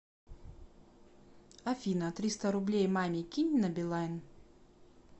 афина триста рублей маме кинь на билайн